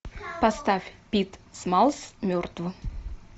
поставь пит смаллс мертв